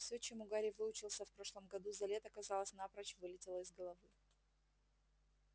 всё чему гарри выучился в прошлом году за лето казалось напрочь вылетело из головы